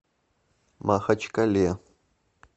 махачкале